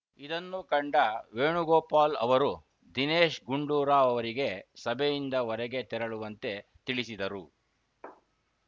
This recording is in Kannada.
ಇದನ್ನು ಕಂಡ ವೇಣುಗೋಪಾಲ್‌ ಅವರು ದಿನೇಶ್‌ ಗುಂಡೂರಾವ್‌ ಅವರಿಗೆ ಸಭೆಯಿಂದ ಹೊರಗೆ ತೆರಳುವಂತೆ ತಿಳಿಸಿದರು